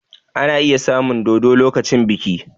Ana iya samun dodo lokacin biki